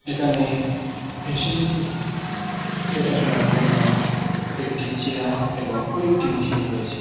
এখানে পেশেন্টের দেখাশুনার জন্য একটি চেয়ার এবং কয়েকটি মেশিন রয়েছে।